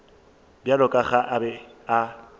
bjalo ka ge a be